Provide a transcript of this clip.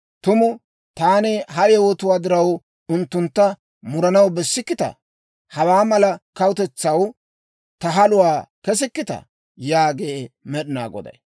Tumu taani ha yewotuwaa diraw, unttuntta muranaw bessikkitaa? Hawaa mala kawutetsaw ta haluwaa kesikkitaa?» yaagee Med'inaa Goday.